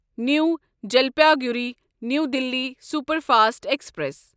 new Jalpaiguri new Delhi superfast express